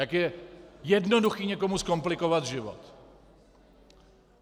Jak je jednoduché někomu zkomplikovat život.